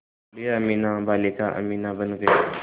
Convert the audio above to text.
बूढ़िया अमीना बालिका अमीना बन गईं